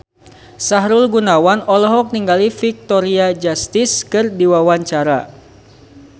Sahrul Gunawan olohok ningali Victoria Justice keur diwawancara